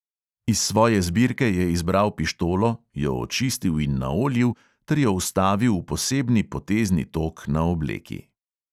Iz svoje zbirke je izbral pištolo, jo očistil in naoljil ter jo vstavil v posebni potezni tok na obleki.